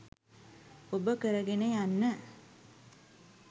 ඔබ කරගෙන යන්න